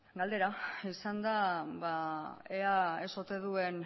galdera izan da ea ez ote duen